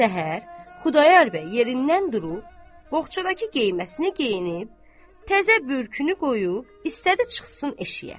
Səhər Xudayar bəy yerindən durub, boğçadakı geyinməsini geyinib, təzə bürkünü qoyub, istədi çıxsın eşiyə.